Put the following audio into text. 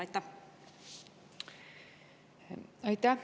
Aitäh!